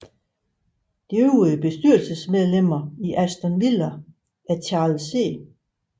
De øvrige bestyrelsesmedlemmer i Aston Villa er Charles C